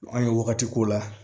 An ye wagati k'o la